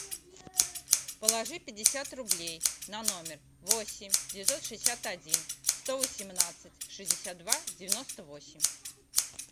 положи пятьдесят рублей на номер восемь девятьсот шестьдесят один сто восемнадцать шестьдесят два девяносто восемь